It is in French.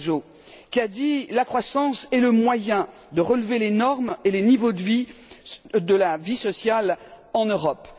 Barroso qui a dit La croissance est le moyen de relever les normes et les niveaux de vie de la vie sociale en Europe.